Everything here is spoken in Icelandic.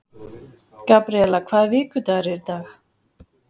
Gabríela, hvaða vikudagur er í dag?